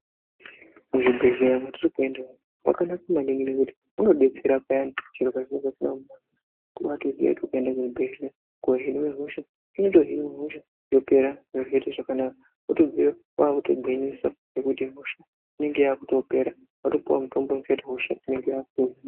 Mu zvibhehleya matiri kuenda umu maka naka maningi nekuti muno detsera payani zviro pa zvinenge zvisina kumira mushe kutobai ziya kuti ukaenda ku chi bhedhlera ko hina hosha inoto hinwa hosha yopera zviro zvoita zvakanaka wotobveyo wakutogwinyisa nekuti hosha inenge yakuto pera watopuwa mutombo unoto ziya hosha inenge yakuno hinwa.